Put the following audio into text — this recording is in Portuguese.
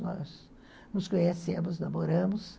Nós nos conhecemos, namoramos.